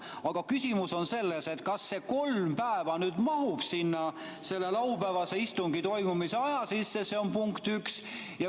Aga küsimus on selles, kas see kolm päeva nüüd mahub sinna selle laupäevase istungi toimumise aja sisse, see on punkt üks.